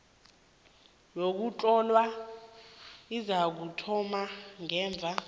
yokuhlolwa izakuthoma ngemva